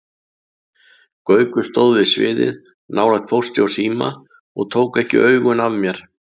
Gaukur stóð við sviðið, nálægt Pósti og Síma og tók ekki augun af mér.